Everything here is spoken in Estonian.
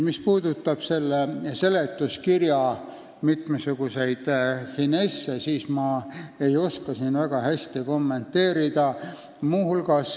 Mis puudutab seletuskirja mitmesuguseid finesse, siis ma ei oska neid väga hästi kommenteerida.